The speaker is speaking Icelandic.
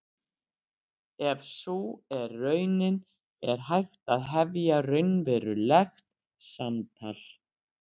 Ef sú er raunin er hægt að hefja raunverulegt samtal.